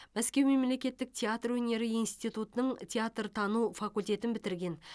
мәскеу мемлекеттік театр өнері институтының театртану факультетін бітірген